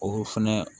O fɛnɛ